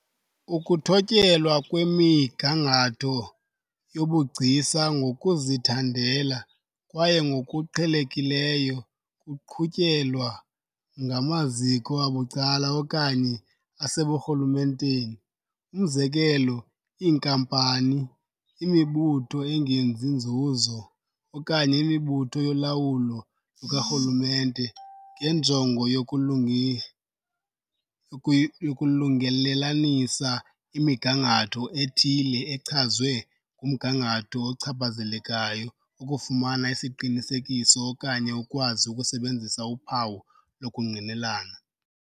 Ukuthotyelwa kwemigangatho yobugcisa ngokuzithandela , kwaye ngokuqhelekileyo kuqhutyelwa ngamaziko abucala okanye aseburhulumenteni umzekelo iinkampani, imibutho "engenzi nzuzo" okanye imibutho yolawulo lukarhulumente ngenjongo yokulungelelanisa "imigangatho" ethile echazwe ngumgangatho ochaphazelekayo, ukufumana isiqinisekiso okanye ukwazi ukusebenzisa uphawu lokungqinelana.